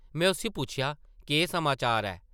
में उसगी पुच्छेआ, ‘‘केह् समाचार ऐ?’’